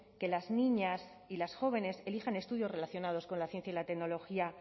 que las niñas y las jóvenes elijan estudios relacionados con la ciencia y la tecnología